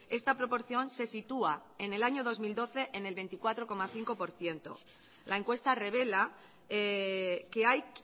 esta proporción se sitúa en el año dos mil doce en el veinticuatro coma cinco por ciento la encuesta revela que hay